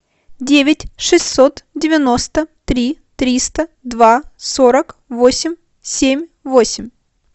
девять шестьсот девяносто три триста два сорок восемь семь восемь